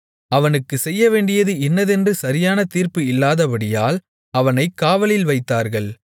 அவனுக்குச் செய்யவேண்டியது இன்னதென்று சரியான தீர்ப்பு இல்லாதபடியால் அவனைக் காவலில் வைத்தார்கள்